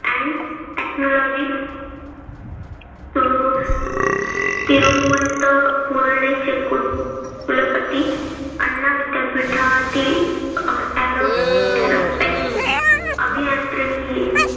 technology Thiru Thiruvananthapuram चे कुल कुलपती आण्णा विद्यापीठातील aerospace अभियांत्रिकी